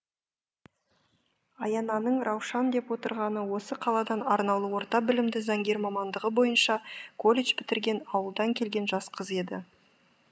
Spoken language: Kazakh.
аянаның раушан деп отырғаны осы қаладан арнаулы орта білімді заңгер мамандығы бойынша колледж бітірген ауылдан келген жас қыз еді